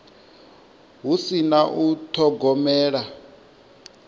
hu si na u thogomela